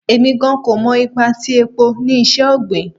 Emi gan ko mọ ipa ti epo ni iṣẹ-ogbin